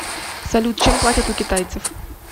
салют чем платят у китайцев